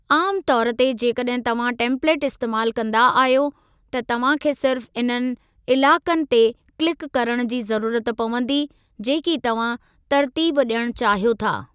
आमु तौर ते, जेकॾहिं तव्हां टेम्पलेट इस्तेमालु कंदा आहियो, त तव्हां खे सिर्फ़ इन्हनि इलाइक़नि ते किल्क करण जी ज़रूरत पवंदी जेकी तव्हां तर्तीब ॾियणु चाहियो था।